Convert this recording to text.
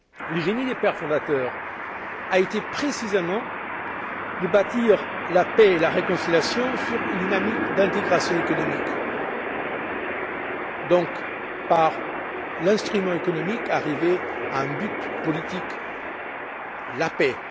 Le génie des pères fondateurs a été, précisément, de bâtir la paix et la réconciliation sur une dynamique d'intégration économique, et donc, d'arriver par l'instrument économique à un but politique la paix!